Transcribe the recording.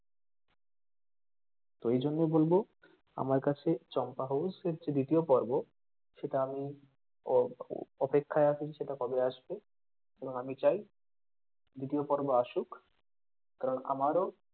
তো এই জন্যই বলব আমার কাছে চম্পা house এর যে দ্বিতীয় পর্ব সেটা আমি অ অপেক্ষায় আছি সেটা কবে আসবে এবং আমি চাই দ্বিতীয় পর্ব আসুক কারণ আমারও,